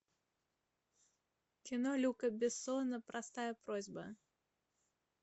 кино люка бессона простая просьба